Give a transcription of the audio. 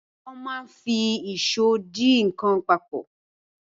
Wọ́n máa ń fi ìṣó de nǹkan papọ̀.